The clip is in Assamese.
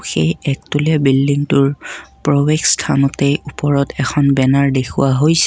সেই একতলিয়া বিল্ডিংটোৰ প্ৰৱেশস্থানতেই উপৰত এখন বেনাৰ দেখুওৱা হৈছে।